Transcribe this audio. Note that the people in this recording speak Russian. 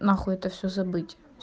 нахуй это все забыть